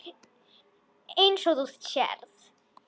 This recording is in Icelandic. Eins og þú sérð.